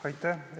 Aitäh!